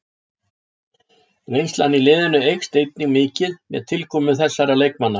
Reynslan í liðinu eykst einnig mikið með tilkomu þessara leikmanna.